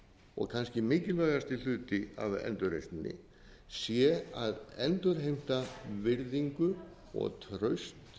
og kannski mikilvægasti hluti af endurreisninni sé að endurheimta virðingu og traust